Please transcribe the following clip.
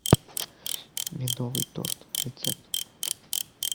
медовый торт рецепт